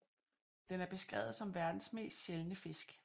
Den er beskrevet som verdens mest sjældne fisk